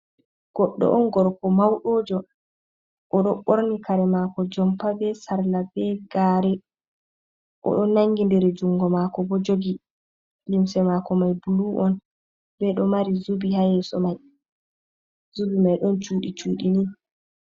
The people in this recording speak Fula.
Goɗɗo on gorko mauɗojo oɗo ɓorni kare mako jompa be sarla be gare, oɗo nangidir jungo mako bo jogi limse mako mai bulu’on beɗo mari zubi hayeso mai, zubi mai ɗon cuɗi cuɗinin.